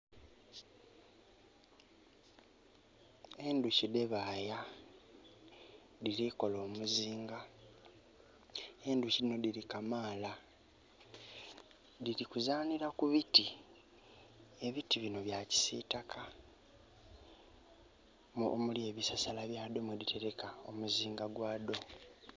Endhuki dhebaaya, dhiri kukola omuzinga endhuki dhino dili Kamaala diri kuzaanira ku biti ebiti bino bya kisiitaka omuli ebisasala byadho mwedhiteleka omuzinga gwa dho.